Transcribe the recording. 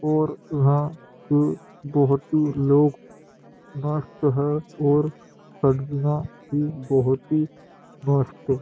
और इहा पे बहोत ही लोग मस्त है और भी बहोत ही मस्त--